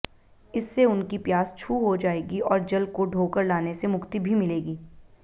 इससे उनकी प्यास छू हो जाएगी और जल को ढोकर लाने से मुक्ति भी मिलेगी